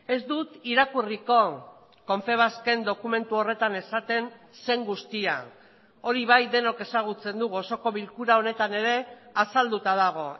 ez dut irakurriko confebasken dokumentu horretan esaten zen guztia hori bai denok ezagutzen dugu osoko bilkura honetan ere azalduta dago